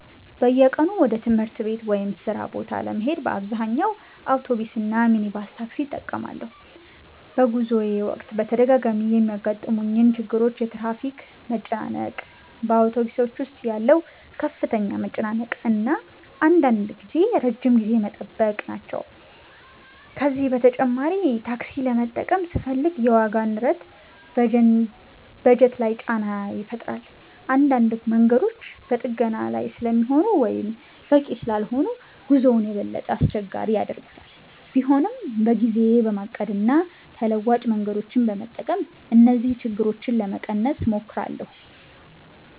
"በየቀኑ ወደ ትምህርት ቤት/ሥራ ቦታ ለመሄድ በአብዛኛው አውቶቡስ እና ሚኒባስ ታክሲ እጠቀማለሁ። በጉዞዬ ወቅት በተደጋጋሚ የሚያጋጥሙኝ ችግሮች የትራፊክ መጨናነቅ፣ በአውቶቡሶች ውስጥ ያለው ከፍተኛ መጨናነቅ እና አንዳንድ ጊዜ ረጅም ጊዜ መጠበቅ ናቸው። ከዚህ በተጨማሪ ታክሲ ለመጠቀም ስፈልግ የዋጋ ንረት በጀት ላይ ጫና ይፈጥራል። አንዳንድ መንገዶችም በጥገና ላይ ስለሚሆኑ ወይም በቂ ስላልሆኑ ጉዞውን የበለጠ አስቸጋሪ ያደርጉታል። ቢሆንም በጊዜዬ በማቀድ እና ተለዋጭ መንገዶችን በመጠቀም እነዚህን ችግሮች ለመቀነስ እሞክራለሁ።"